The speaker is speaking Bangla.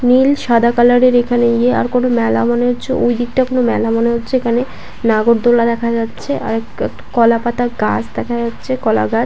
নীল সাদা কালারের এখানে আর কোনো মেলা মনে হচ্ছে ঐদিকটা কোনো মেলা মনে হচ্ছে এখানে নাগরদোলা দেখা যাচ্ছে আর কলাপাতার গাছ দেখা যাচ্ছে কলাগাছ।